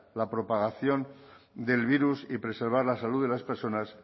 la propagación del virus y preservar la salud de las personas